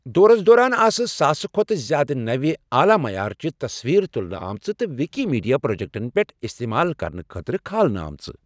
دورس دوران آسہٕ ساسہٕ کھۄتہٕ زیادٕ نوِ، اعلیٰ معیار چہِ تصویٖرٕ تُلنہٕ آمژٕ تہٕ وِکی میٖڈیا پرٛوجکٹن پٮ۪ٹھ اِستعمال کرنہٕ خٲطرٕ کھالنہٕ آمژٕ۔